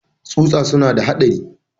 tsusa suna da haɗari.